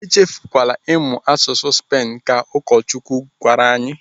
"Echefukwala ịmụ asụsụ ndị Spen," Ka ụkọchukwu gwara anyị.